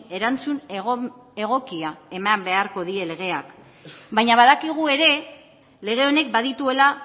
erantzun egokia eman beharko die legeak baina badakigu ere lege honek badituela